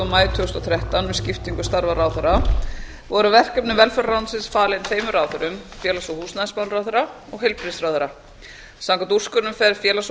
maí tvö þúsund og þrettán við skiptingu starfa ráðherra voru verkefni velferðarráðuneytisins falin tveimur ráðherrum félags og húsnæðismálaráðherra og heilbrigðisráðherra samkvæmt úrskurðinum fer félags og